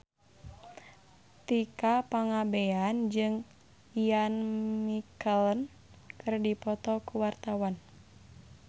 Tika Pangabean jeung Ian McKellen keur dipoto ku wartawan